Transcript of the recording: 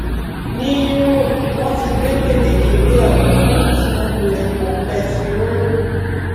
ní europe wọn ti gbé gbèdéke lé àwọn ọkọ tí ó n lo epo pẹtiró